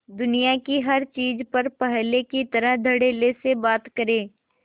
दुनिया की हर चीज पर पहले की तरह धडल्ले से बात करे